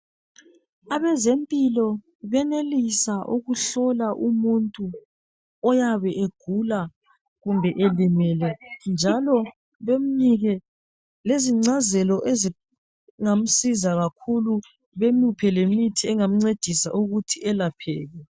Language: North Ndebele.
Abezempilo benelisa ukuhlola umuntu oyabe egula kumbe elimele njalo bemnike lezincazelo ezingamsiza kakhulu bemuphe lemithi engamncedisa ukuthi elapheke.